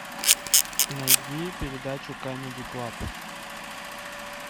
найди передачу камеди клаб